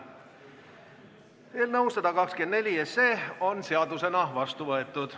Eelnõu 124 on seadusena vastu võetud.